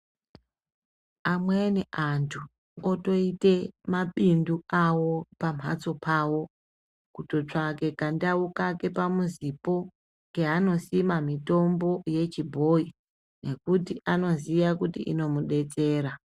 Amweni anhu otoite mabindu awo pamhatso pawo, kutotsvake kandau kake pamuzipo keanosima mitombo yechibhoyi nekuti anoziya kuti inomudetsera.